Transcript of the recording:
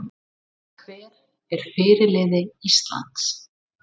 Hver er fyrirliði Íslands?